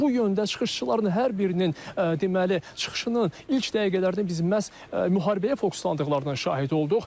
Bu yöndə çıxışçıların hər birinin deməli çıxışının ilk dəqiqələrdən biz məhz müharibəyə fokuslandıqlarının şahid olduq.